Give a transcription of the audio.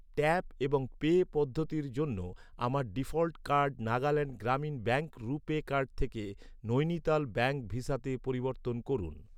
Tap এবং pay পদ্ধতির জন্য আমার default card Nagaland Gramin bank RuPay card থেকে নৈনিতাল ব্যাঙ্ক ভিসাতে পরিবর্তন করুন।